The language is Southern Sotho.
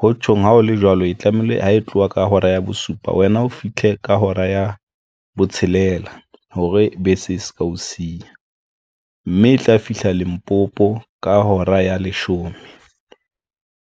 Ho tjhong, ha o le jwalo, ho tlamehile ho e tloha ka hora ya bosupa wena o fihle ka hora ya botshelela hore bese e se ka o siya mme e tla fihla Limpopo ka hora ya leshome.